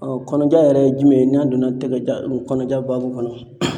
kɔnɔja yɛrɛ ye jumɛn ye n'a donna tɛgɛjan o kɔnɔja baabu kɔnɔ?